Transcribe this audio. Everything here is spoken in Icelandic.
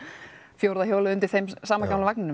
fjórða hjólið undir sama gamla vagninum